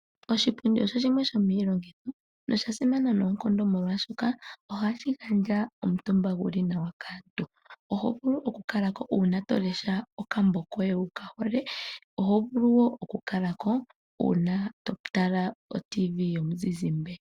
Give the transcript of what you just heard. Oshipundi osho shimwe sho miilongitho, nosha simana noonkondo molwaashoka, oha shi gandja omutumba gu li nawa kaantu. Oho vulu oku kala ko uuna to lesha okambo koye wu ka hole. Oho vulu wo oku kala ko uuna to tala otv yomuzizimbe.